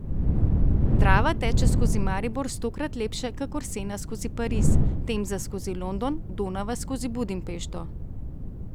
Drava teče skozi Maribor stokrat lepše kakor Sena skozi Pariz, Temza skozi London, Donava skozi Budimpešto.